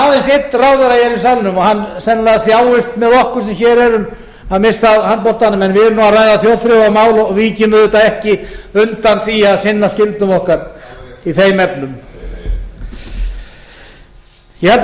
ráðherra hér í salnum og hann sennilega þjáist með okkur sem hér erum að missa af handboltanum en við erum nú að ræða þjóðþrifamál og víkjum auðvitað ekki undan því að sinna skyldum okkar í þeim efnum ég held að menn hljóti að spyrja